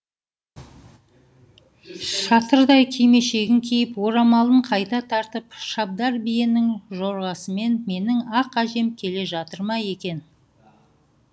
шатырдай кимешегін киіп орамалын қайта тартып шабдар биенің жорғасымен менің ақ әжем келе жатыр ма екен